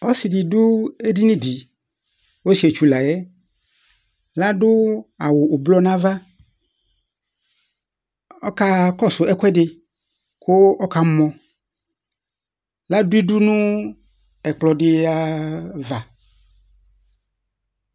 Ɔsɩ ɖɩ ɖʋ eɖini ɖɩ; ɔsɩetsu laƴɛLa ɖʋ awʋ blɔ n'ava, ɔƙaƙɔsʋ ɛƙʋɛɖɩ ƙʋ ɔƙamɔLa ɖʋ iɖu nʋ ɛƙplɔ ɖɩava